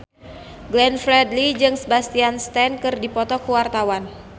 Glenn Fredly jeung Sebastian Stan keur dipoto ku wartawan